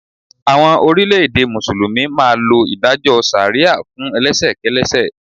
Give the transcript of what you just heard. Àwọn orílẹ̀ẹ̀dè Mùsùlùmí máa lo ìdájọ́ ṣàríà fún elẹ́ṣẹ̀ kẹ́lẹ́ṣẹ̀.